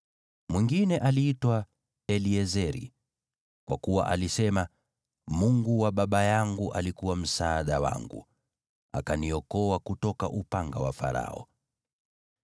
Mwingine aliitwa Eliezeri, kwa kuwa alisema, “Mungu wa baba yangu alikuwa msaada wangu, akaniokoa kutoka upanga wa Farao.”